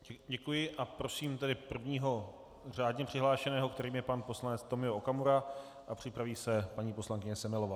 Děkuji a prosím tedy prvního řádně přihlášeného, kterým je pan poslanec Tomio Okamura, a připraví se paní poslankyně Semelová.